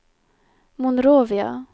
Monrovia